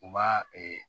U b'a